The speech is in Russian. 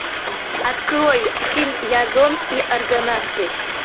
открой фильм язон и аргонавты